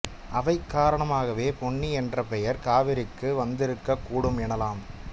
அவை காரணமாகவே பொன்னி என்ற பெயர் காவிரிக்கு வந்திருக்கக்கூடும் எனலாம்